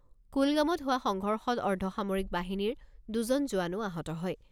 কুলগামত হোৱা সংঘৰ্ষত অৰ্ধসামৰিক বাহিনীৰ দুজন জোৱানো আহত হয়।